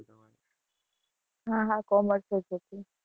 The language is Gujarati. હા હા commerce જ હતું.